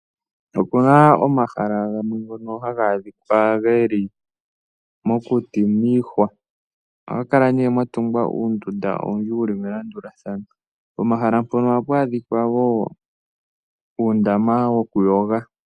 Opuna omahala gamwe ngono haga adhika geli mokuti miihwa. Ohaga kala ne ga tungwa uunduda owundji wuli melandulathano. Pomahala mpono ohapu adhika wo uundama woku yoga.